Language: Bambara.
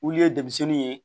Olu ye denmisɛnnin ye